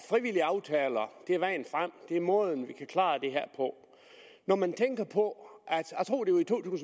frivillige aftaler er vejen frem er måden vi kan klare det her på når man tænker på